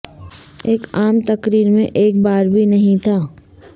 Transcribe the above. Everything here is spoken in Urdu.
ایک عام تقریر میں ایک بار بھی نہیں تھا